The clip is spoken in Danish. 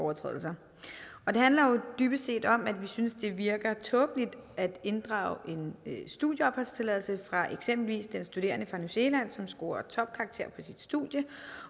overtrædelser og det handler jo dybest set om at vi synes det virker tåbeligt at inddrage en studieopholdstilladelse fra eksempelvis den studerende fra new zealand som scorer topkarakterer på sit studie